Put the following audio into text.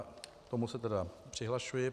K tomu se tedy přihlašuji.